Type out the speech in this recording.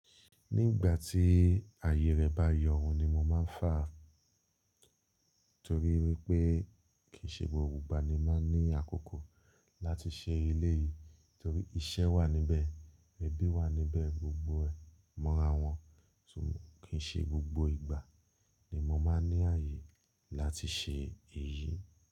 Ní ìgbà tí ààyè rẹ̀ bá yọ̀ ohun ni mo máa ń fà á torí wípé kì í ṣe gbogbo ìgbà ni máa ń ní àkókò láti ṣe eléyìí torí iṣẹ́ wà níbẹ̀, ẹbí wà níbẹ̀, gbogbo ẹ̀ mọ́ra wọn. Kí í ṣe gbogbo ìgbà ni mo máa ń ní ààyè láti ṣe èyí.